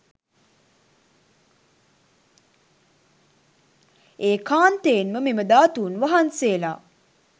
ඒකාන්තයෙන්ම මෙම ධාතූන් වහන්සේලා